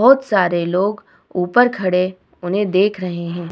बहुत सारे लोग ऊपर खड़े उन्हें देख रहे है ।